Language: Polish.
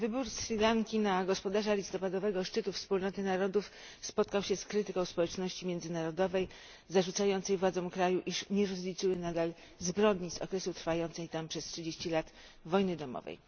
Wybór Sri Lanki na gospodarza listopadowego szczytu Wspólnoty Narodów spotkał się z krytyką społeczności międzynarodowej zarzucającej władzom kraju, iż nie rozliczyły nadal zbrodni z okresu trwającej tam przez 30 lat wojny domowej.